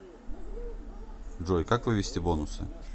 джой как вывести бонусы